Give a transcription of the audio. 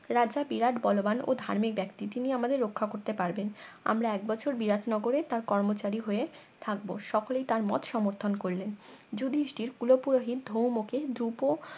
রাজা বিরাট বলবান ও ধার্মিক ব্যাক্তি তিনি আমাদের রক্ষা করতে পারবেন আমরা এক বছর বিরাট নগরে তার কর্মচারী হয়ে থাকব সকলেই তার মত সমর্থন করলেন যুধিষ্টির কুল পুরহিত ধৌম কে ধ্রুপ